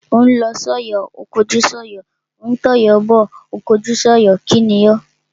Ó ń lọ sọ́yọ̀ ó kọjú sọ́yọ̀, ó ń tọ̀yọ́ bọ̀ ó kọjú sọ́yọ̀. kíni o?